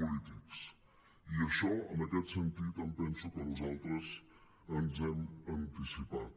polítics i en això en aquest sentit em penso que nosaltres ens hi hem anticipat